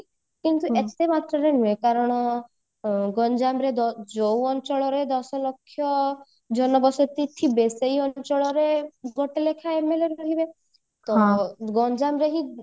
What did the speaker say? ଏତେ ନୁହଁ କାରଣ ଗଞ୍ଜାମରେ ଦ ଯୋଉ ଅଞ୍ଚଳରେ ଦଶଲକ୍ଷ୍ୟ ଜନବସତି ଥିବେ ସେଇ ଅଞ୍ଚଳରେ ଗୋଟେ ଲେଖାଏ MLA ରହିବେ ତ ଗଞ୍ଜାମରେ ହିଁ